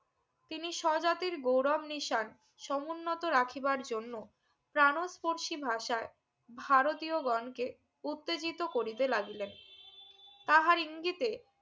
তিনি সজাতির গৌরব নিশান সমুন্নত রাখিবার জন্য প্রান্স পরশি ভাষায় ভারতীয় গন কে উত্তেজিত করিতে লাগিলেন তাহার ইঙ্গিতে